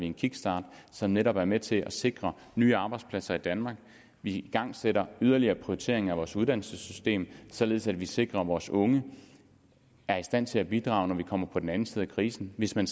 en kickstart som netop er med til at sikre nye arbejdspladser i danmark vi igangsætter yderligere prioritering af vores uddannelsessystem således at vi sikrer at vores unge er i stand til at bidrage når vi kommer om på den anden side af krisen hvis man